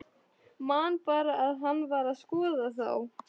Man bara að hann var að skoða þá.